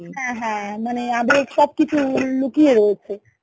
হ্যাঁ হ্যাঁ মানে আবেগ সবকিছু লুকিয়ে রয়েছে